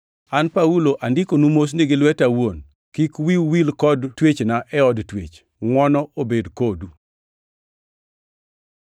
An Paulo, andikonu mosni gi lweta awuon. Kik wiu wil kod twechna e od twech. Ngʼwono obed kodu.